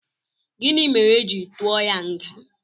Gịnị mere éjị tụọ ya nga?